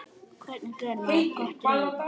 Hvernig gerir maður gott grín?